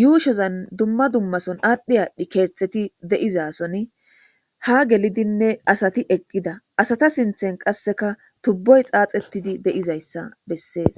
yuushozan dumma dummason aadhdhi aadhdhi keexxeti de7izason ha gelidinne asati eqqida asata sinthen qasseka tubboy xaaxettidi de7izayssa bessees